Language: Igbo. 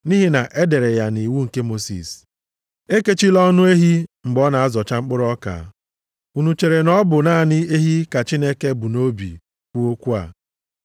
Nʼihi na e dere ya nʼiwu nke Mosis, “Ekechila ọnụ ehi mgbe ọ na-azọcha mkpụrụ ọka.” + 9:9 \+xt Dit 25:4\+xt* Unu chere na ọ bụ naanị ehi ka Chineke bu nʼobi kwuo okwu a?